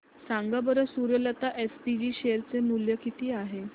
सांगा बरं Suryalata SPG share चे मूल्य किती आहे